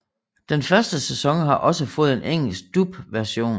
Den første sæson har også fået en engelsk dub version